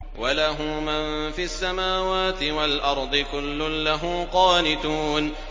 وَلَهُ مَن فِي السَّمَاوَاتِ وَالْأَرْضِ ۖ كُلٌّ لَّهُ قَانِتُونَ